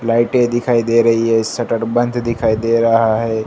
Light दिखाई दे रही है। शटर बंद दिखाई दे रहा है।